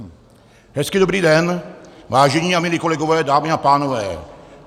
Hezký dobrý den, vážení a milí kolegové, dámy a pánové.